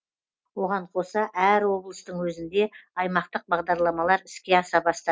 оған қоса әр облыстың өзінде аймақтық бағдарламалар іске аса